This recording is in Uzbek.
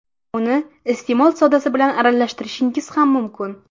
Uni iste’mol sodasi bilan aralashtirishingiz ham mumkin.